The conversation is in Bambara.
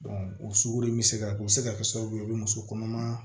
o sugoro bɛ se ka o bɛ se ka kɛ sababu ye o bɛ muso kɔnɔma